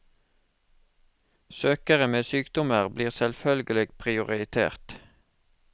Søkere med sykdommer blir selvfølgelig prioritert.